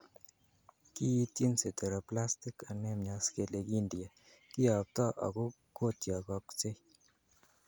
Kiityin Sideroblastic anemias kele kindie, kiyopto ak kotiokoksei.